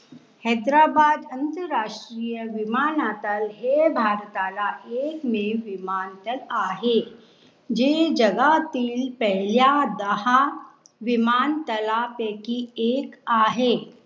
हैदराबाद आंतराष्ट्रीय विमानतळ हे भारतातला एकमेव विमानतळ आहे जे जगातील पहिल्या दहा विमानतळा पैकी एक आहे.